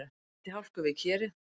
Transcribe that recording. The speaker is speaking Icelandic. Bíll valt í hálku við Kerið